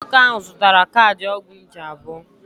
Nwoke ahụ zụtara kaadị ọgwụ nje abụọ.